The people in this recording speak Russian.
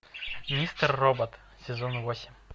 мистер робот сезон восемь